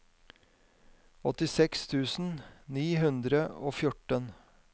åttiseks tusen ni hundre og fjorten